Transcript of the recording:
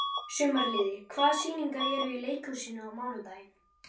Sumarliði, hvaða sýningar eru í leikhúsinu á mánudaginn?